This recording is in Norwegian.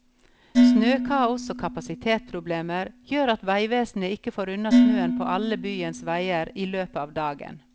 Snøkaos og kapasitetsproblemer gjør at veivesenet ikke får unna snøen på alle byens veier i løpet av dagen.